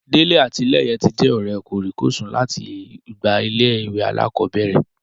Délé àti Lẹ́yẹ tí jẹ́ ọ̀rẹ́ kòríkòsùn láti ìgbà ilé-ìwé alákọ̀bẹ̀rẹ̀